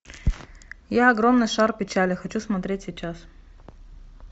я огромный шар печали хочу смотреть сейчас